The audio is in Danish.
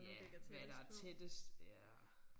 Ja hvad der tættest ja